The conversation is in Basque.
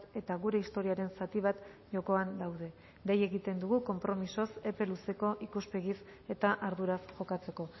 eta gure historiaren zati bat jokoan daude dei egiten dugu konpromisoz epe luzeko ikuspegiz eta arduraz jokatzeko